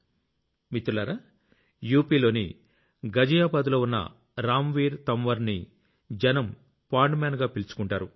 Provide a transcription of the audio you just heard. మిత్రులారా యూపీలోని గజియాబాద్ లో ఉన్న రామ్ వీర్ తంవర్ ని జనం పోండ్ మాన్ అని పిలుచుకుంటారు